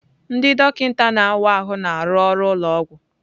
Ndị dọkịta na-awa ahụ na-arụ ọrụ ụlọ ọgwụ.